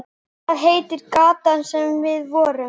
Hvað heitir gatan þar sem við vorum?